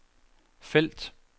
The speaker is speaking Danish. felt